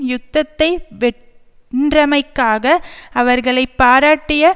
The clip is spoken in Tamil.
யுத்தத்தை வென்றமைக்காக அவர்களை பாராட்டிய